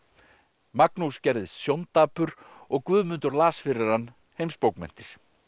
Magnús gerðist og Guðmundur las fyrir hann heimsbókmenntir